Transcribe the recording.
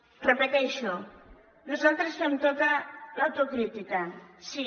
ho repeteixo nosaltres fem tota l’autocrítica sí